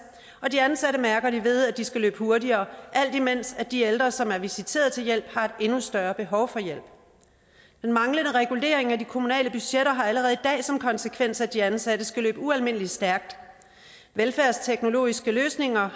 og de ansatte mærker det ved at de skal løbe hurtigere alt imens de ældre som er visiteret til hjælp har et endnu større behov for hjælp den manglende regulering af de kommunale budgetter har allerede i dag som konsekvens at de ansatte skal løbe ualmindelig stærkt velfærdsteknologiske løsninger